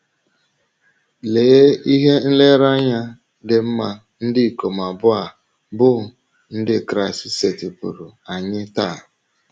Lee ihe nlereanya dị mma ndị ikom abụọ a bụ́ Ndị Kraịst setịpụụrụ anyị taa!